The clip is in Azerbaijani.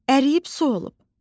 Əriyib su olub.